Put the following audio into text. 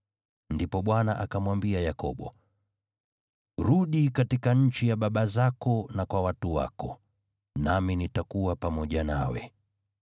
Ndipo Bwana akamwambia Yakobo, “Rudi katika nchi ya baba zako na kwa watu wako, nami nitakuwa pamoja nawe.”